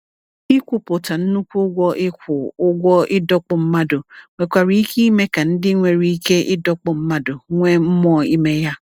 Ikwupụta nnukwu ụgwọ ịkwụ ụgwọ ịdọkpụ mmadụ nwekwara ike ime ka ndị nwere ike ịdọkpụ mmadụ nwee mmụọ ime ya.